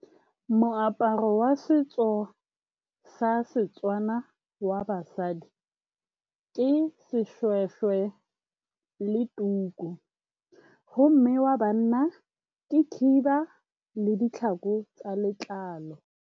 Moaparo wa setso sa Setswana wa basadi ke seshweshwe le tuku, gomme wa banna ke khiba le ditlhako tsa letlalo.